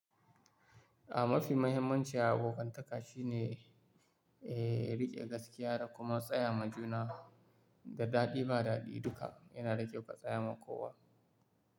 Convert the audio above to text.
A mafi mahimmancin abokantaka shine, eh riƙe gaskiya da kuma tsaya ma juna da daɗi ba daɗi duka yana ɗa kyaue ka tsaya ma kowa.